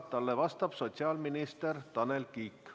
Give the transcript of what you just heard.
Talle vastab sotsiaalminister Tanel Kiik.